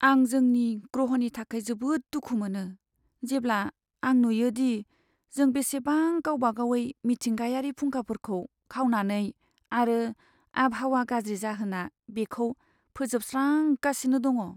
आं जोंनि ग्रहनि थाखाय जोबोद दुखु मोनो जेब्ला आं नुयोदि जों बेसेबां गावबागावयै मिथिंगायारि फुंखाफोरखौ खावनानै आरो आबहावा गाज्रि जाहोना बिखौ फोजोबस्रांगासिनो दङ।